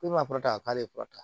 Ko ma kɔrɔtan k'ale kɔrɔta